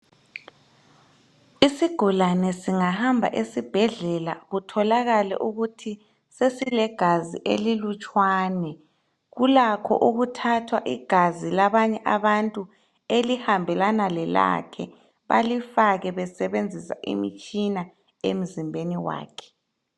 Isigulane singahamba esibhedlela kutholakale ukuthi sesilegazi elilutshwane, kulakho ukuthatha igazi labanye abantu elihambelana lelakhe balifake besebenzisa imitshina emzimbeni wakhe.